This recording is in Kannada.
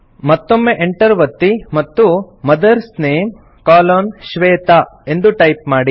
ಮತ್ತೊಮ್ಮೆ Enter ಒತ್ತಿ ಮತ್ತು ಮದರ್ಸ್ ನೇಮ್ ಕೊಲೊನ್ ಶ್ವೇತಾ ಎಂದು ಟೈಪ್ ಮಾಡಿ